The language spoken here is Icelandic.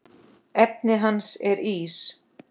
Efnið hans er ís.